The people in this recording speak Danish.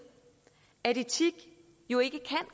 at etik jo ikke